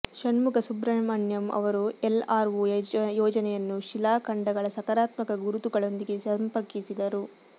ಷಣ್ಮುಗ ಸುಬ್ರಹ್ಮಣ್ಯಂ ಅವರು ಎಲ್ಆರ್ಒ ಯೋಜನೆಯನ್ನು ಶಿಲಾಖಂಡಗಳ ಸಕಾರಾತ್ಮಕ ಗುರುತುಗಳೊಂದಿಗೆ ಸಂಪರ್ಕಿಸಿದರು